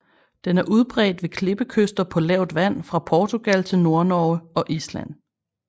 Den er udbredt ved klippekyster på lavt vand fra Portugal til Nordnorge og Island